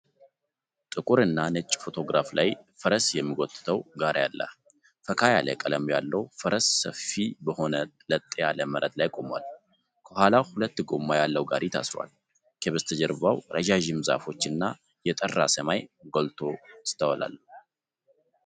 ጥቁር እና ነጭ ፎቶግራፍ ላይ ፈረስ የሚጎትተው ጋሪ አለ። ፈካ ያለ ቀለም ያለው ፈረስ ሰፊ በሆነ ለጥ ያለ መሬት ላይ ቆሟል፤ ከኋላው ሁለት ጎማ ያለው ጋሪ ታስሯል። ከበስተጀርባው ረጃጅም ዛፎች እና የጠራ ሰማይ ጎልተው ይስተዋላሉ።